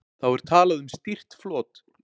Þá er talað um stýrt flot.